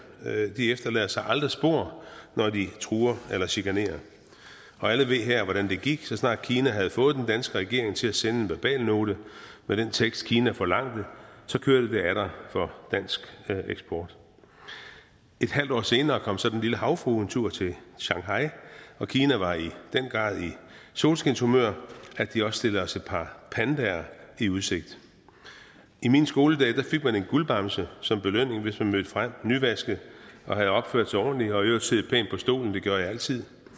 de efterlader sig aldrig spor når de truer eller chikanerer og alle her ved hvordan det gik så snart kina havde fået den danske regering til at sende en verbalnote med den tekst kina forlangte kørte det atter for dansk eksport et halvt år senere kom så den lille havfrue en tur til shanghai og kina var i i solskinshumør at de også stillede os et par pandaer i udsigt i mine skoledage fik man en guldbamse som belønning hvis man mødte frem nyvasket og havde opført sig ordentligt og i øvrigt siddet pænt på stolen det gjorde jeg altid